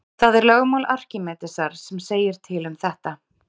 það er lögmál arkímedesar sem segir til um þetta